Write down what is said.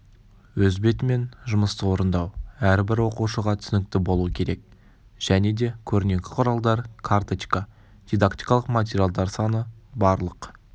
өз бетімен жұмысты орындау әрбір оқушыға түсінікті болуы керек және де көрнекі құралдар карточка дидактикалық материалдар саны барлық